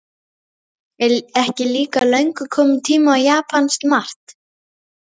Er ekki líka löngu kominn tími á japanskt mark?